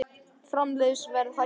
Framleiðsluverð hækkar